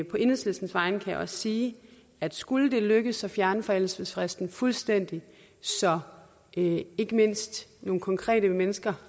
på enhedslistens vegne kan jeg også sige at skulle det lykkes at fjerne forældelsesfristen fuldstændig så ikke mindst nogle konkrete mennesker